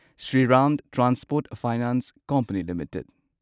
Shriram transport finance company limited